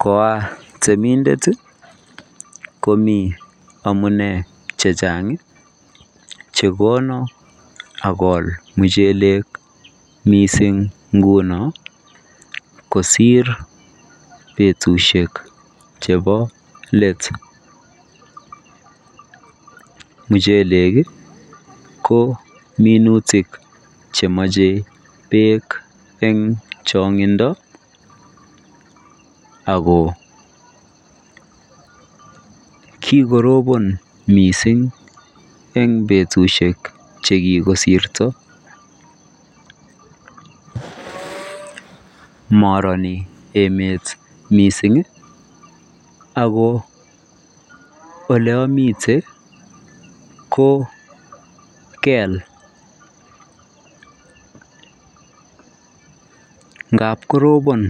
Koatemindet ii komii amunei che chaang ii chekonan akool muchelek missing ngunoon kosiir betusiek chebo let muchelek ii ko minutik chemachei beek eng changindo ako kikorobaan missing eng betusiek che kikosirto maranii emeet missing ii ako ole amiten ko keel ngaap korobaan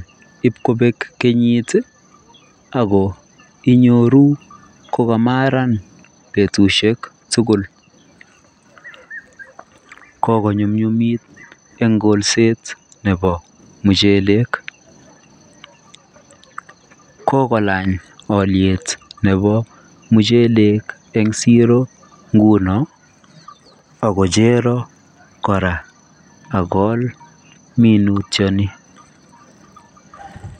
IP kobeek kenyiit ako inyoruu kokamaran betusiek tuguul kikonyunyumiit en kolset nebo muchelek kikolaany aliet nebo muchelek en siroo nguno akocheraan kora akool minutiet nii.